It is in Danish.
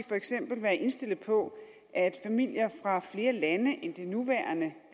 for eksempel være indstillet på at familier fra flere lande end de nuværende